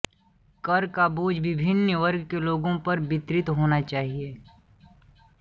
कर का बोझ विभिन्न वर्ग के लोगों पर वितरित होना चाहिए